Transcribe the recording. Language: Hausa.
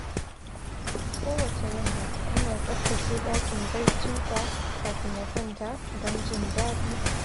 Kowacce yamma, yana tsaftace ɗakin barcinsa kafin ya kwanta don jin daɗi.